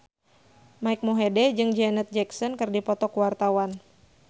Mike Mohede jeung Janet Jackson keur dipoto ku wartawan